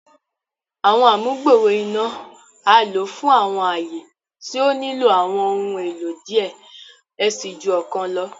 Àwọn amugbooro iná a lo fún awọn aaye tí o nilo awọn ohùn èlò diẹ ẹ sii ju ọkàn lọ